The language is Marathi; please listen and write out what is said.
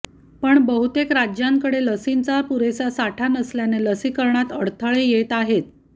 पण बहुतेक राज्यांकडे लसींचा पुरेसा साठा नसल्याने लसीकरणात अडथळे येत आहेत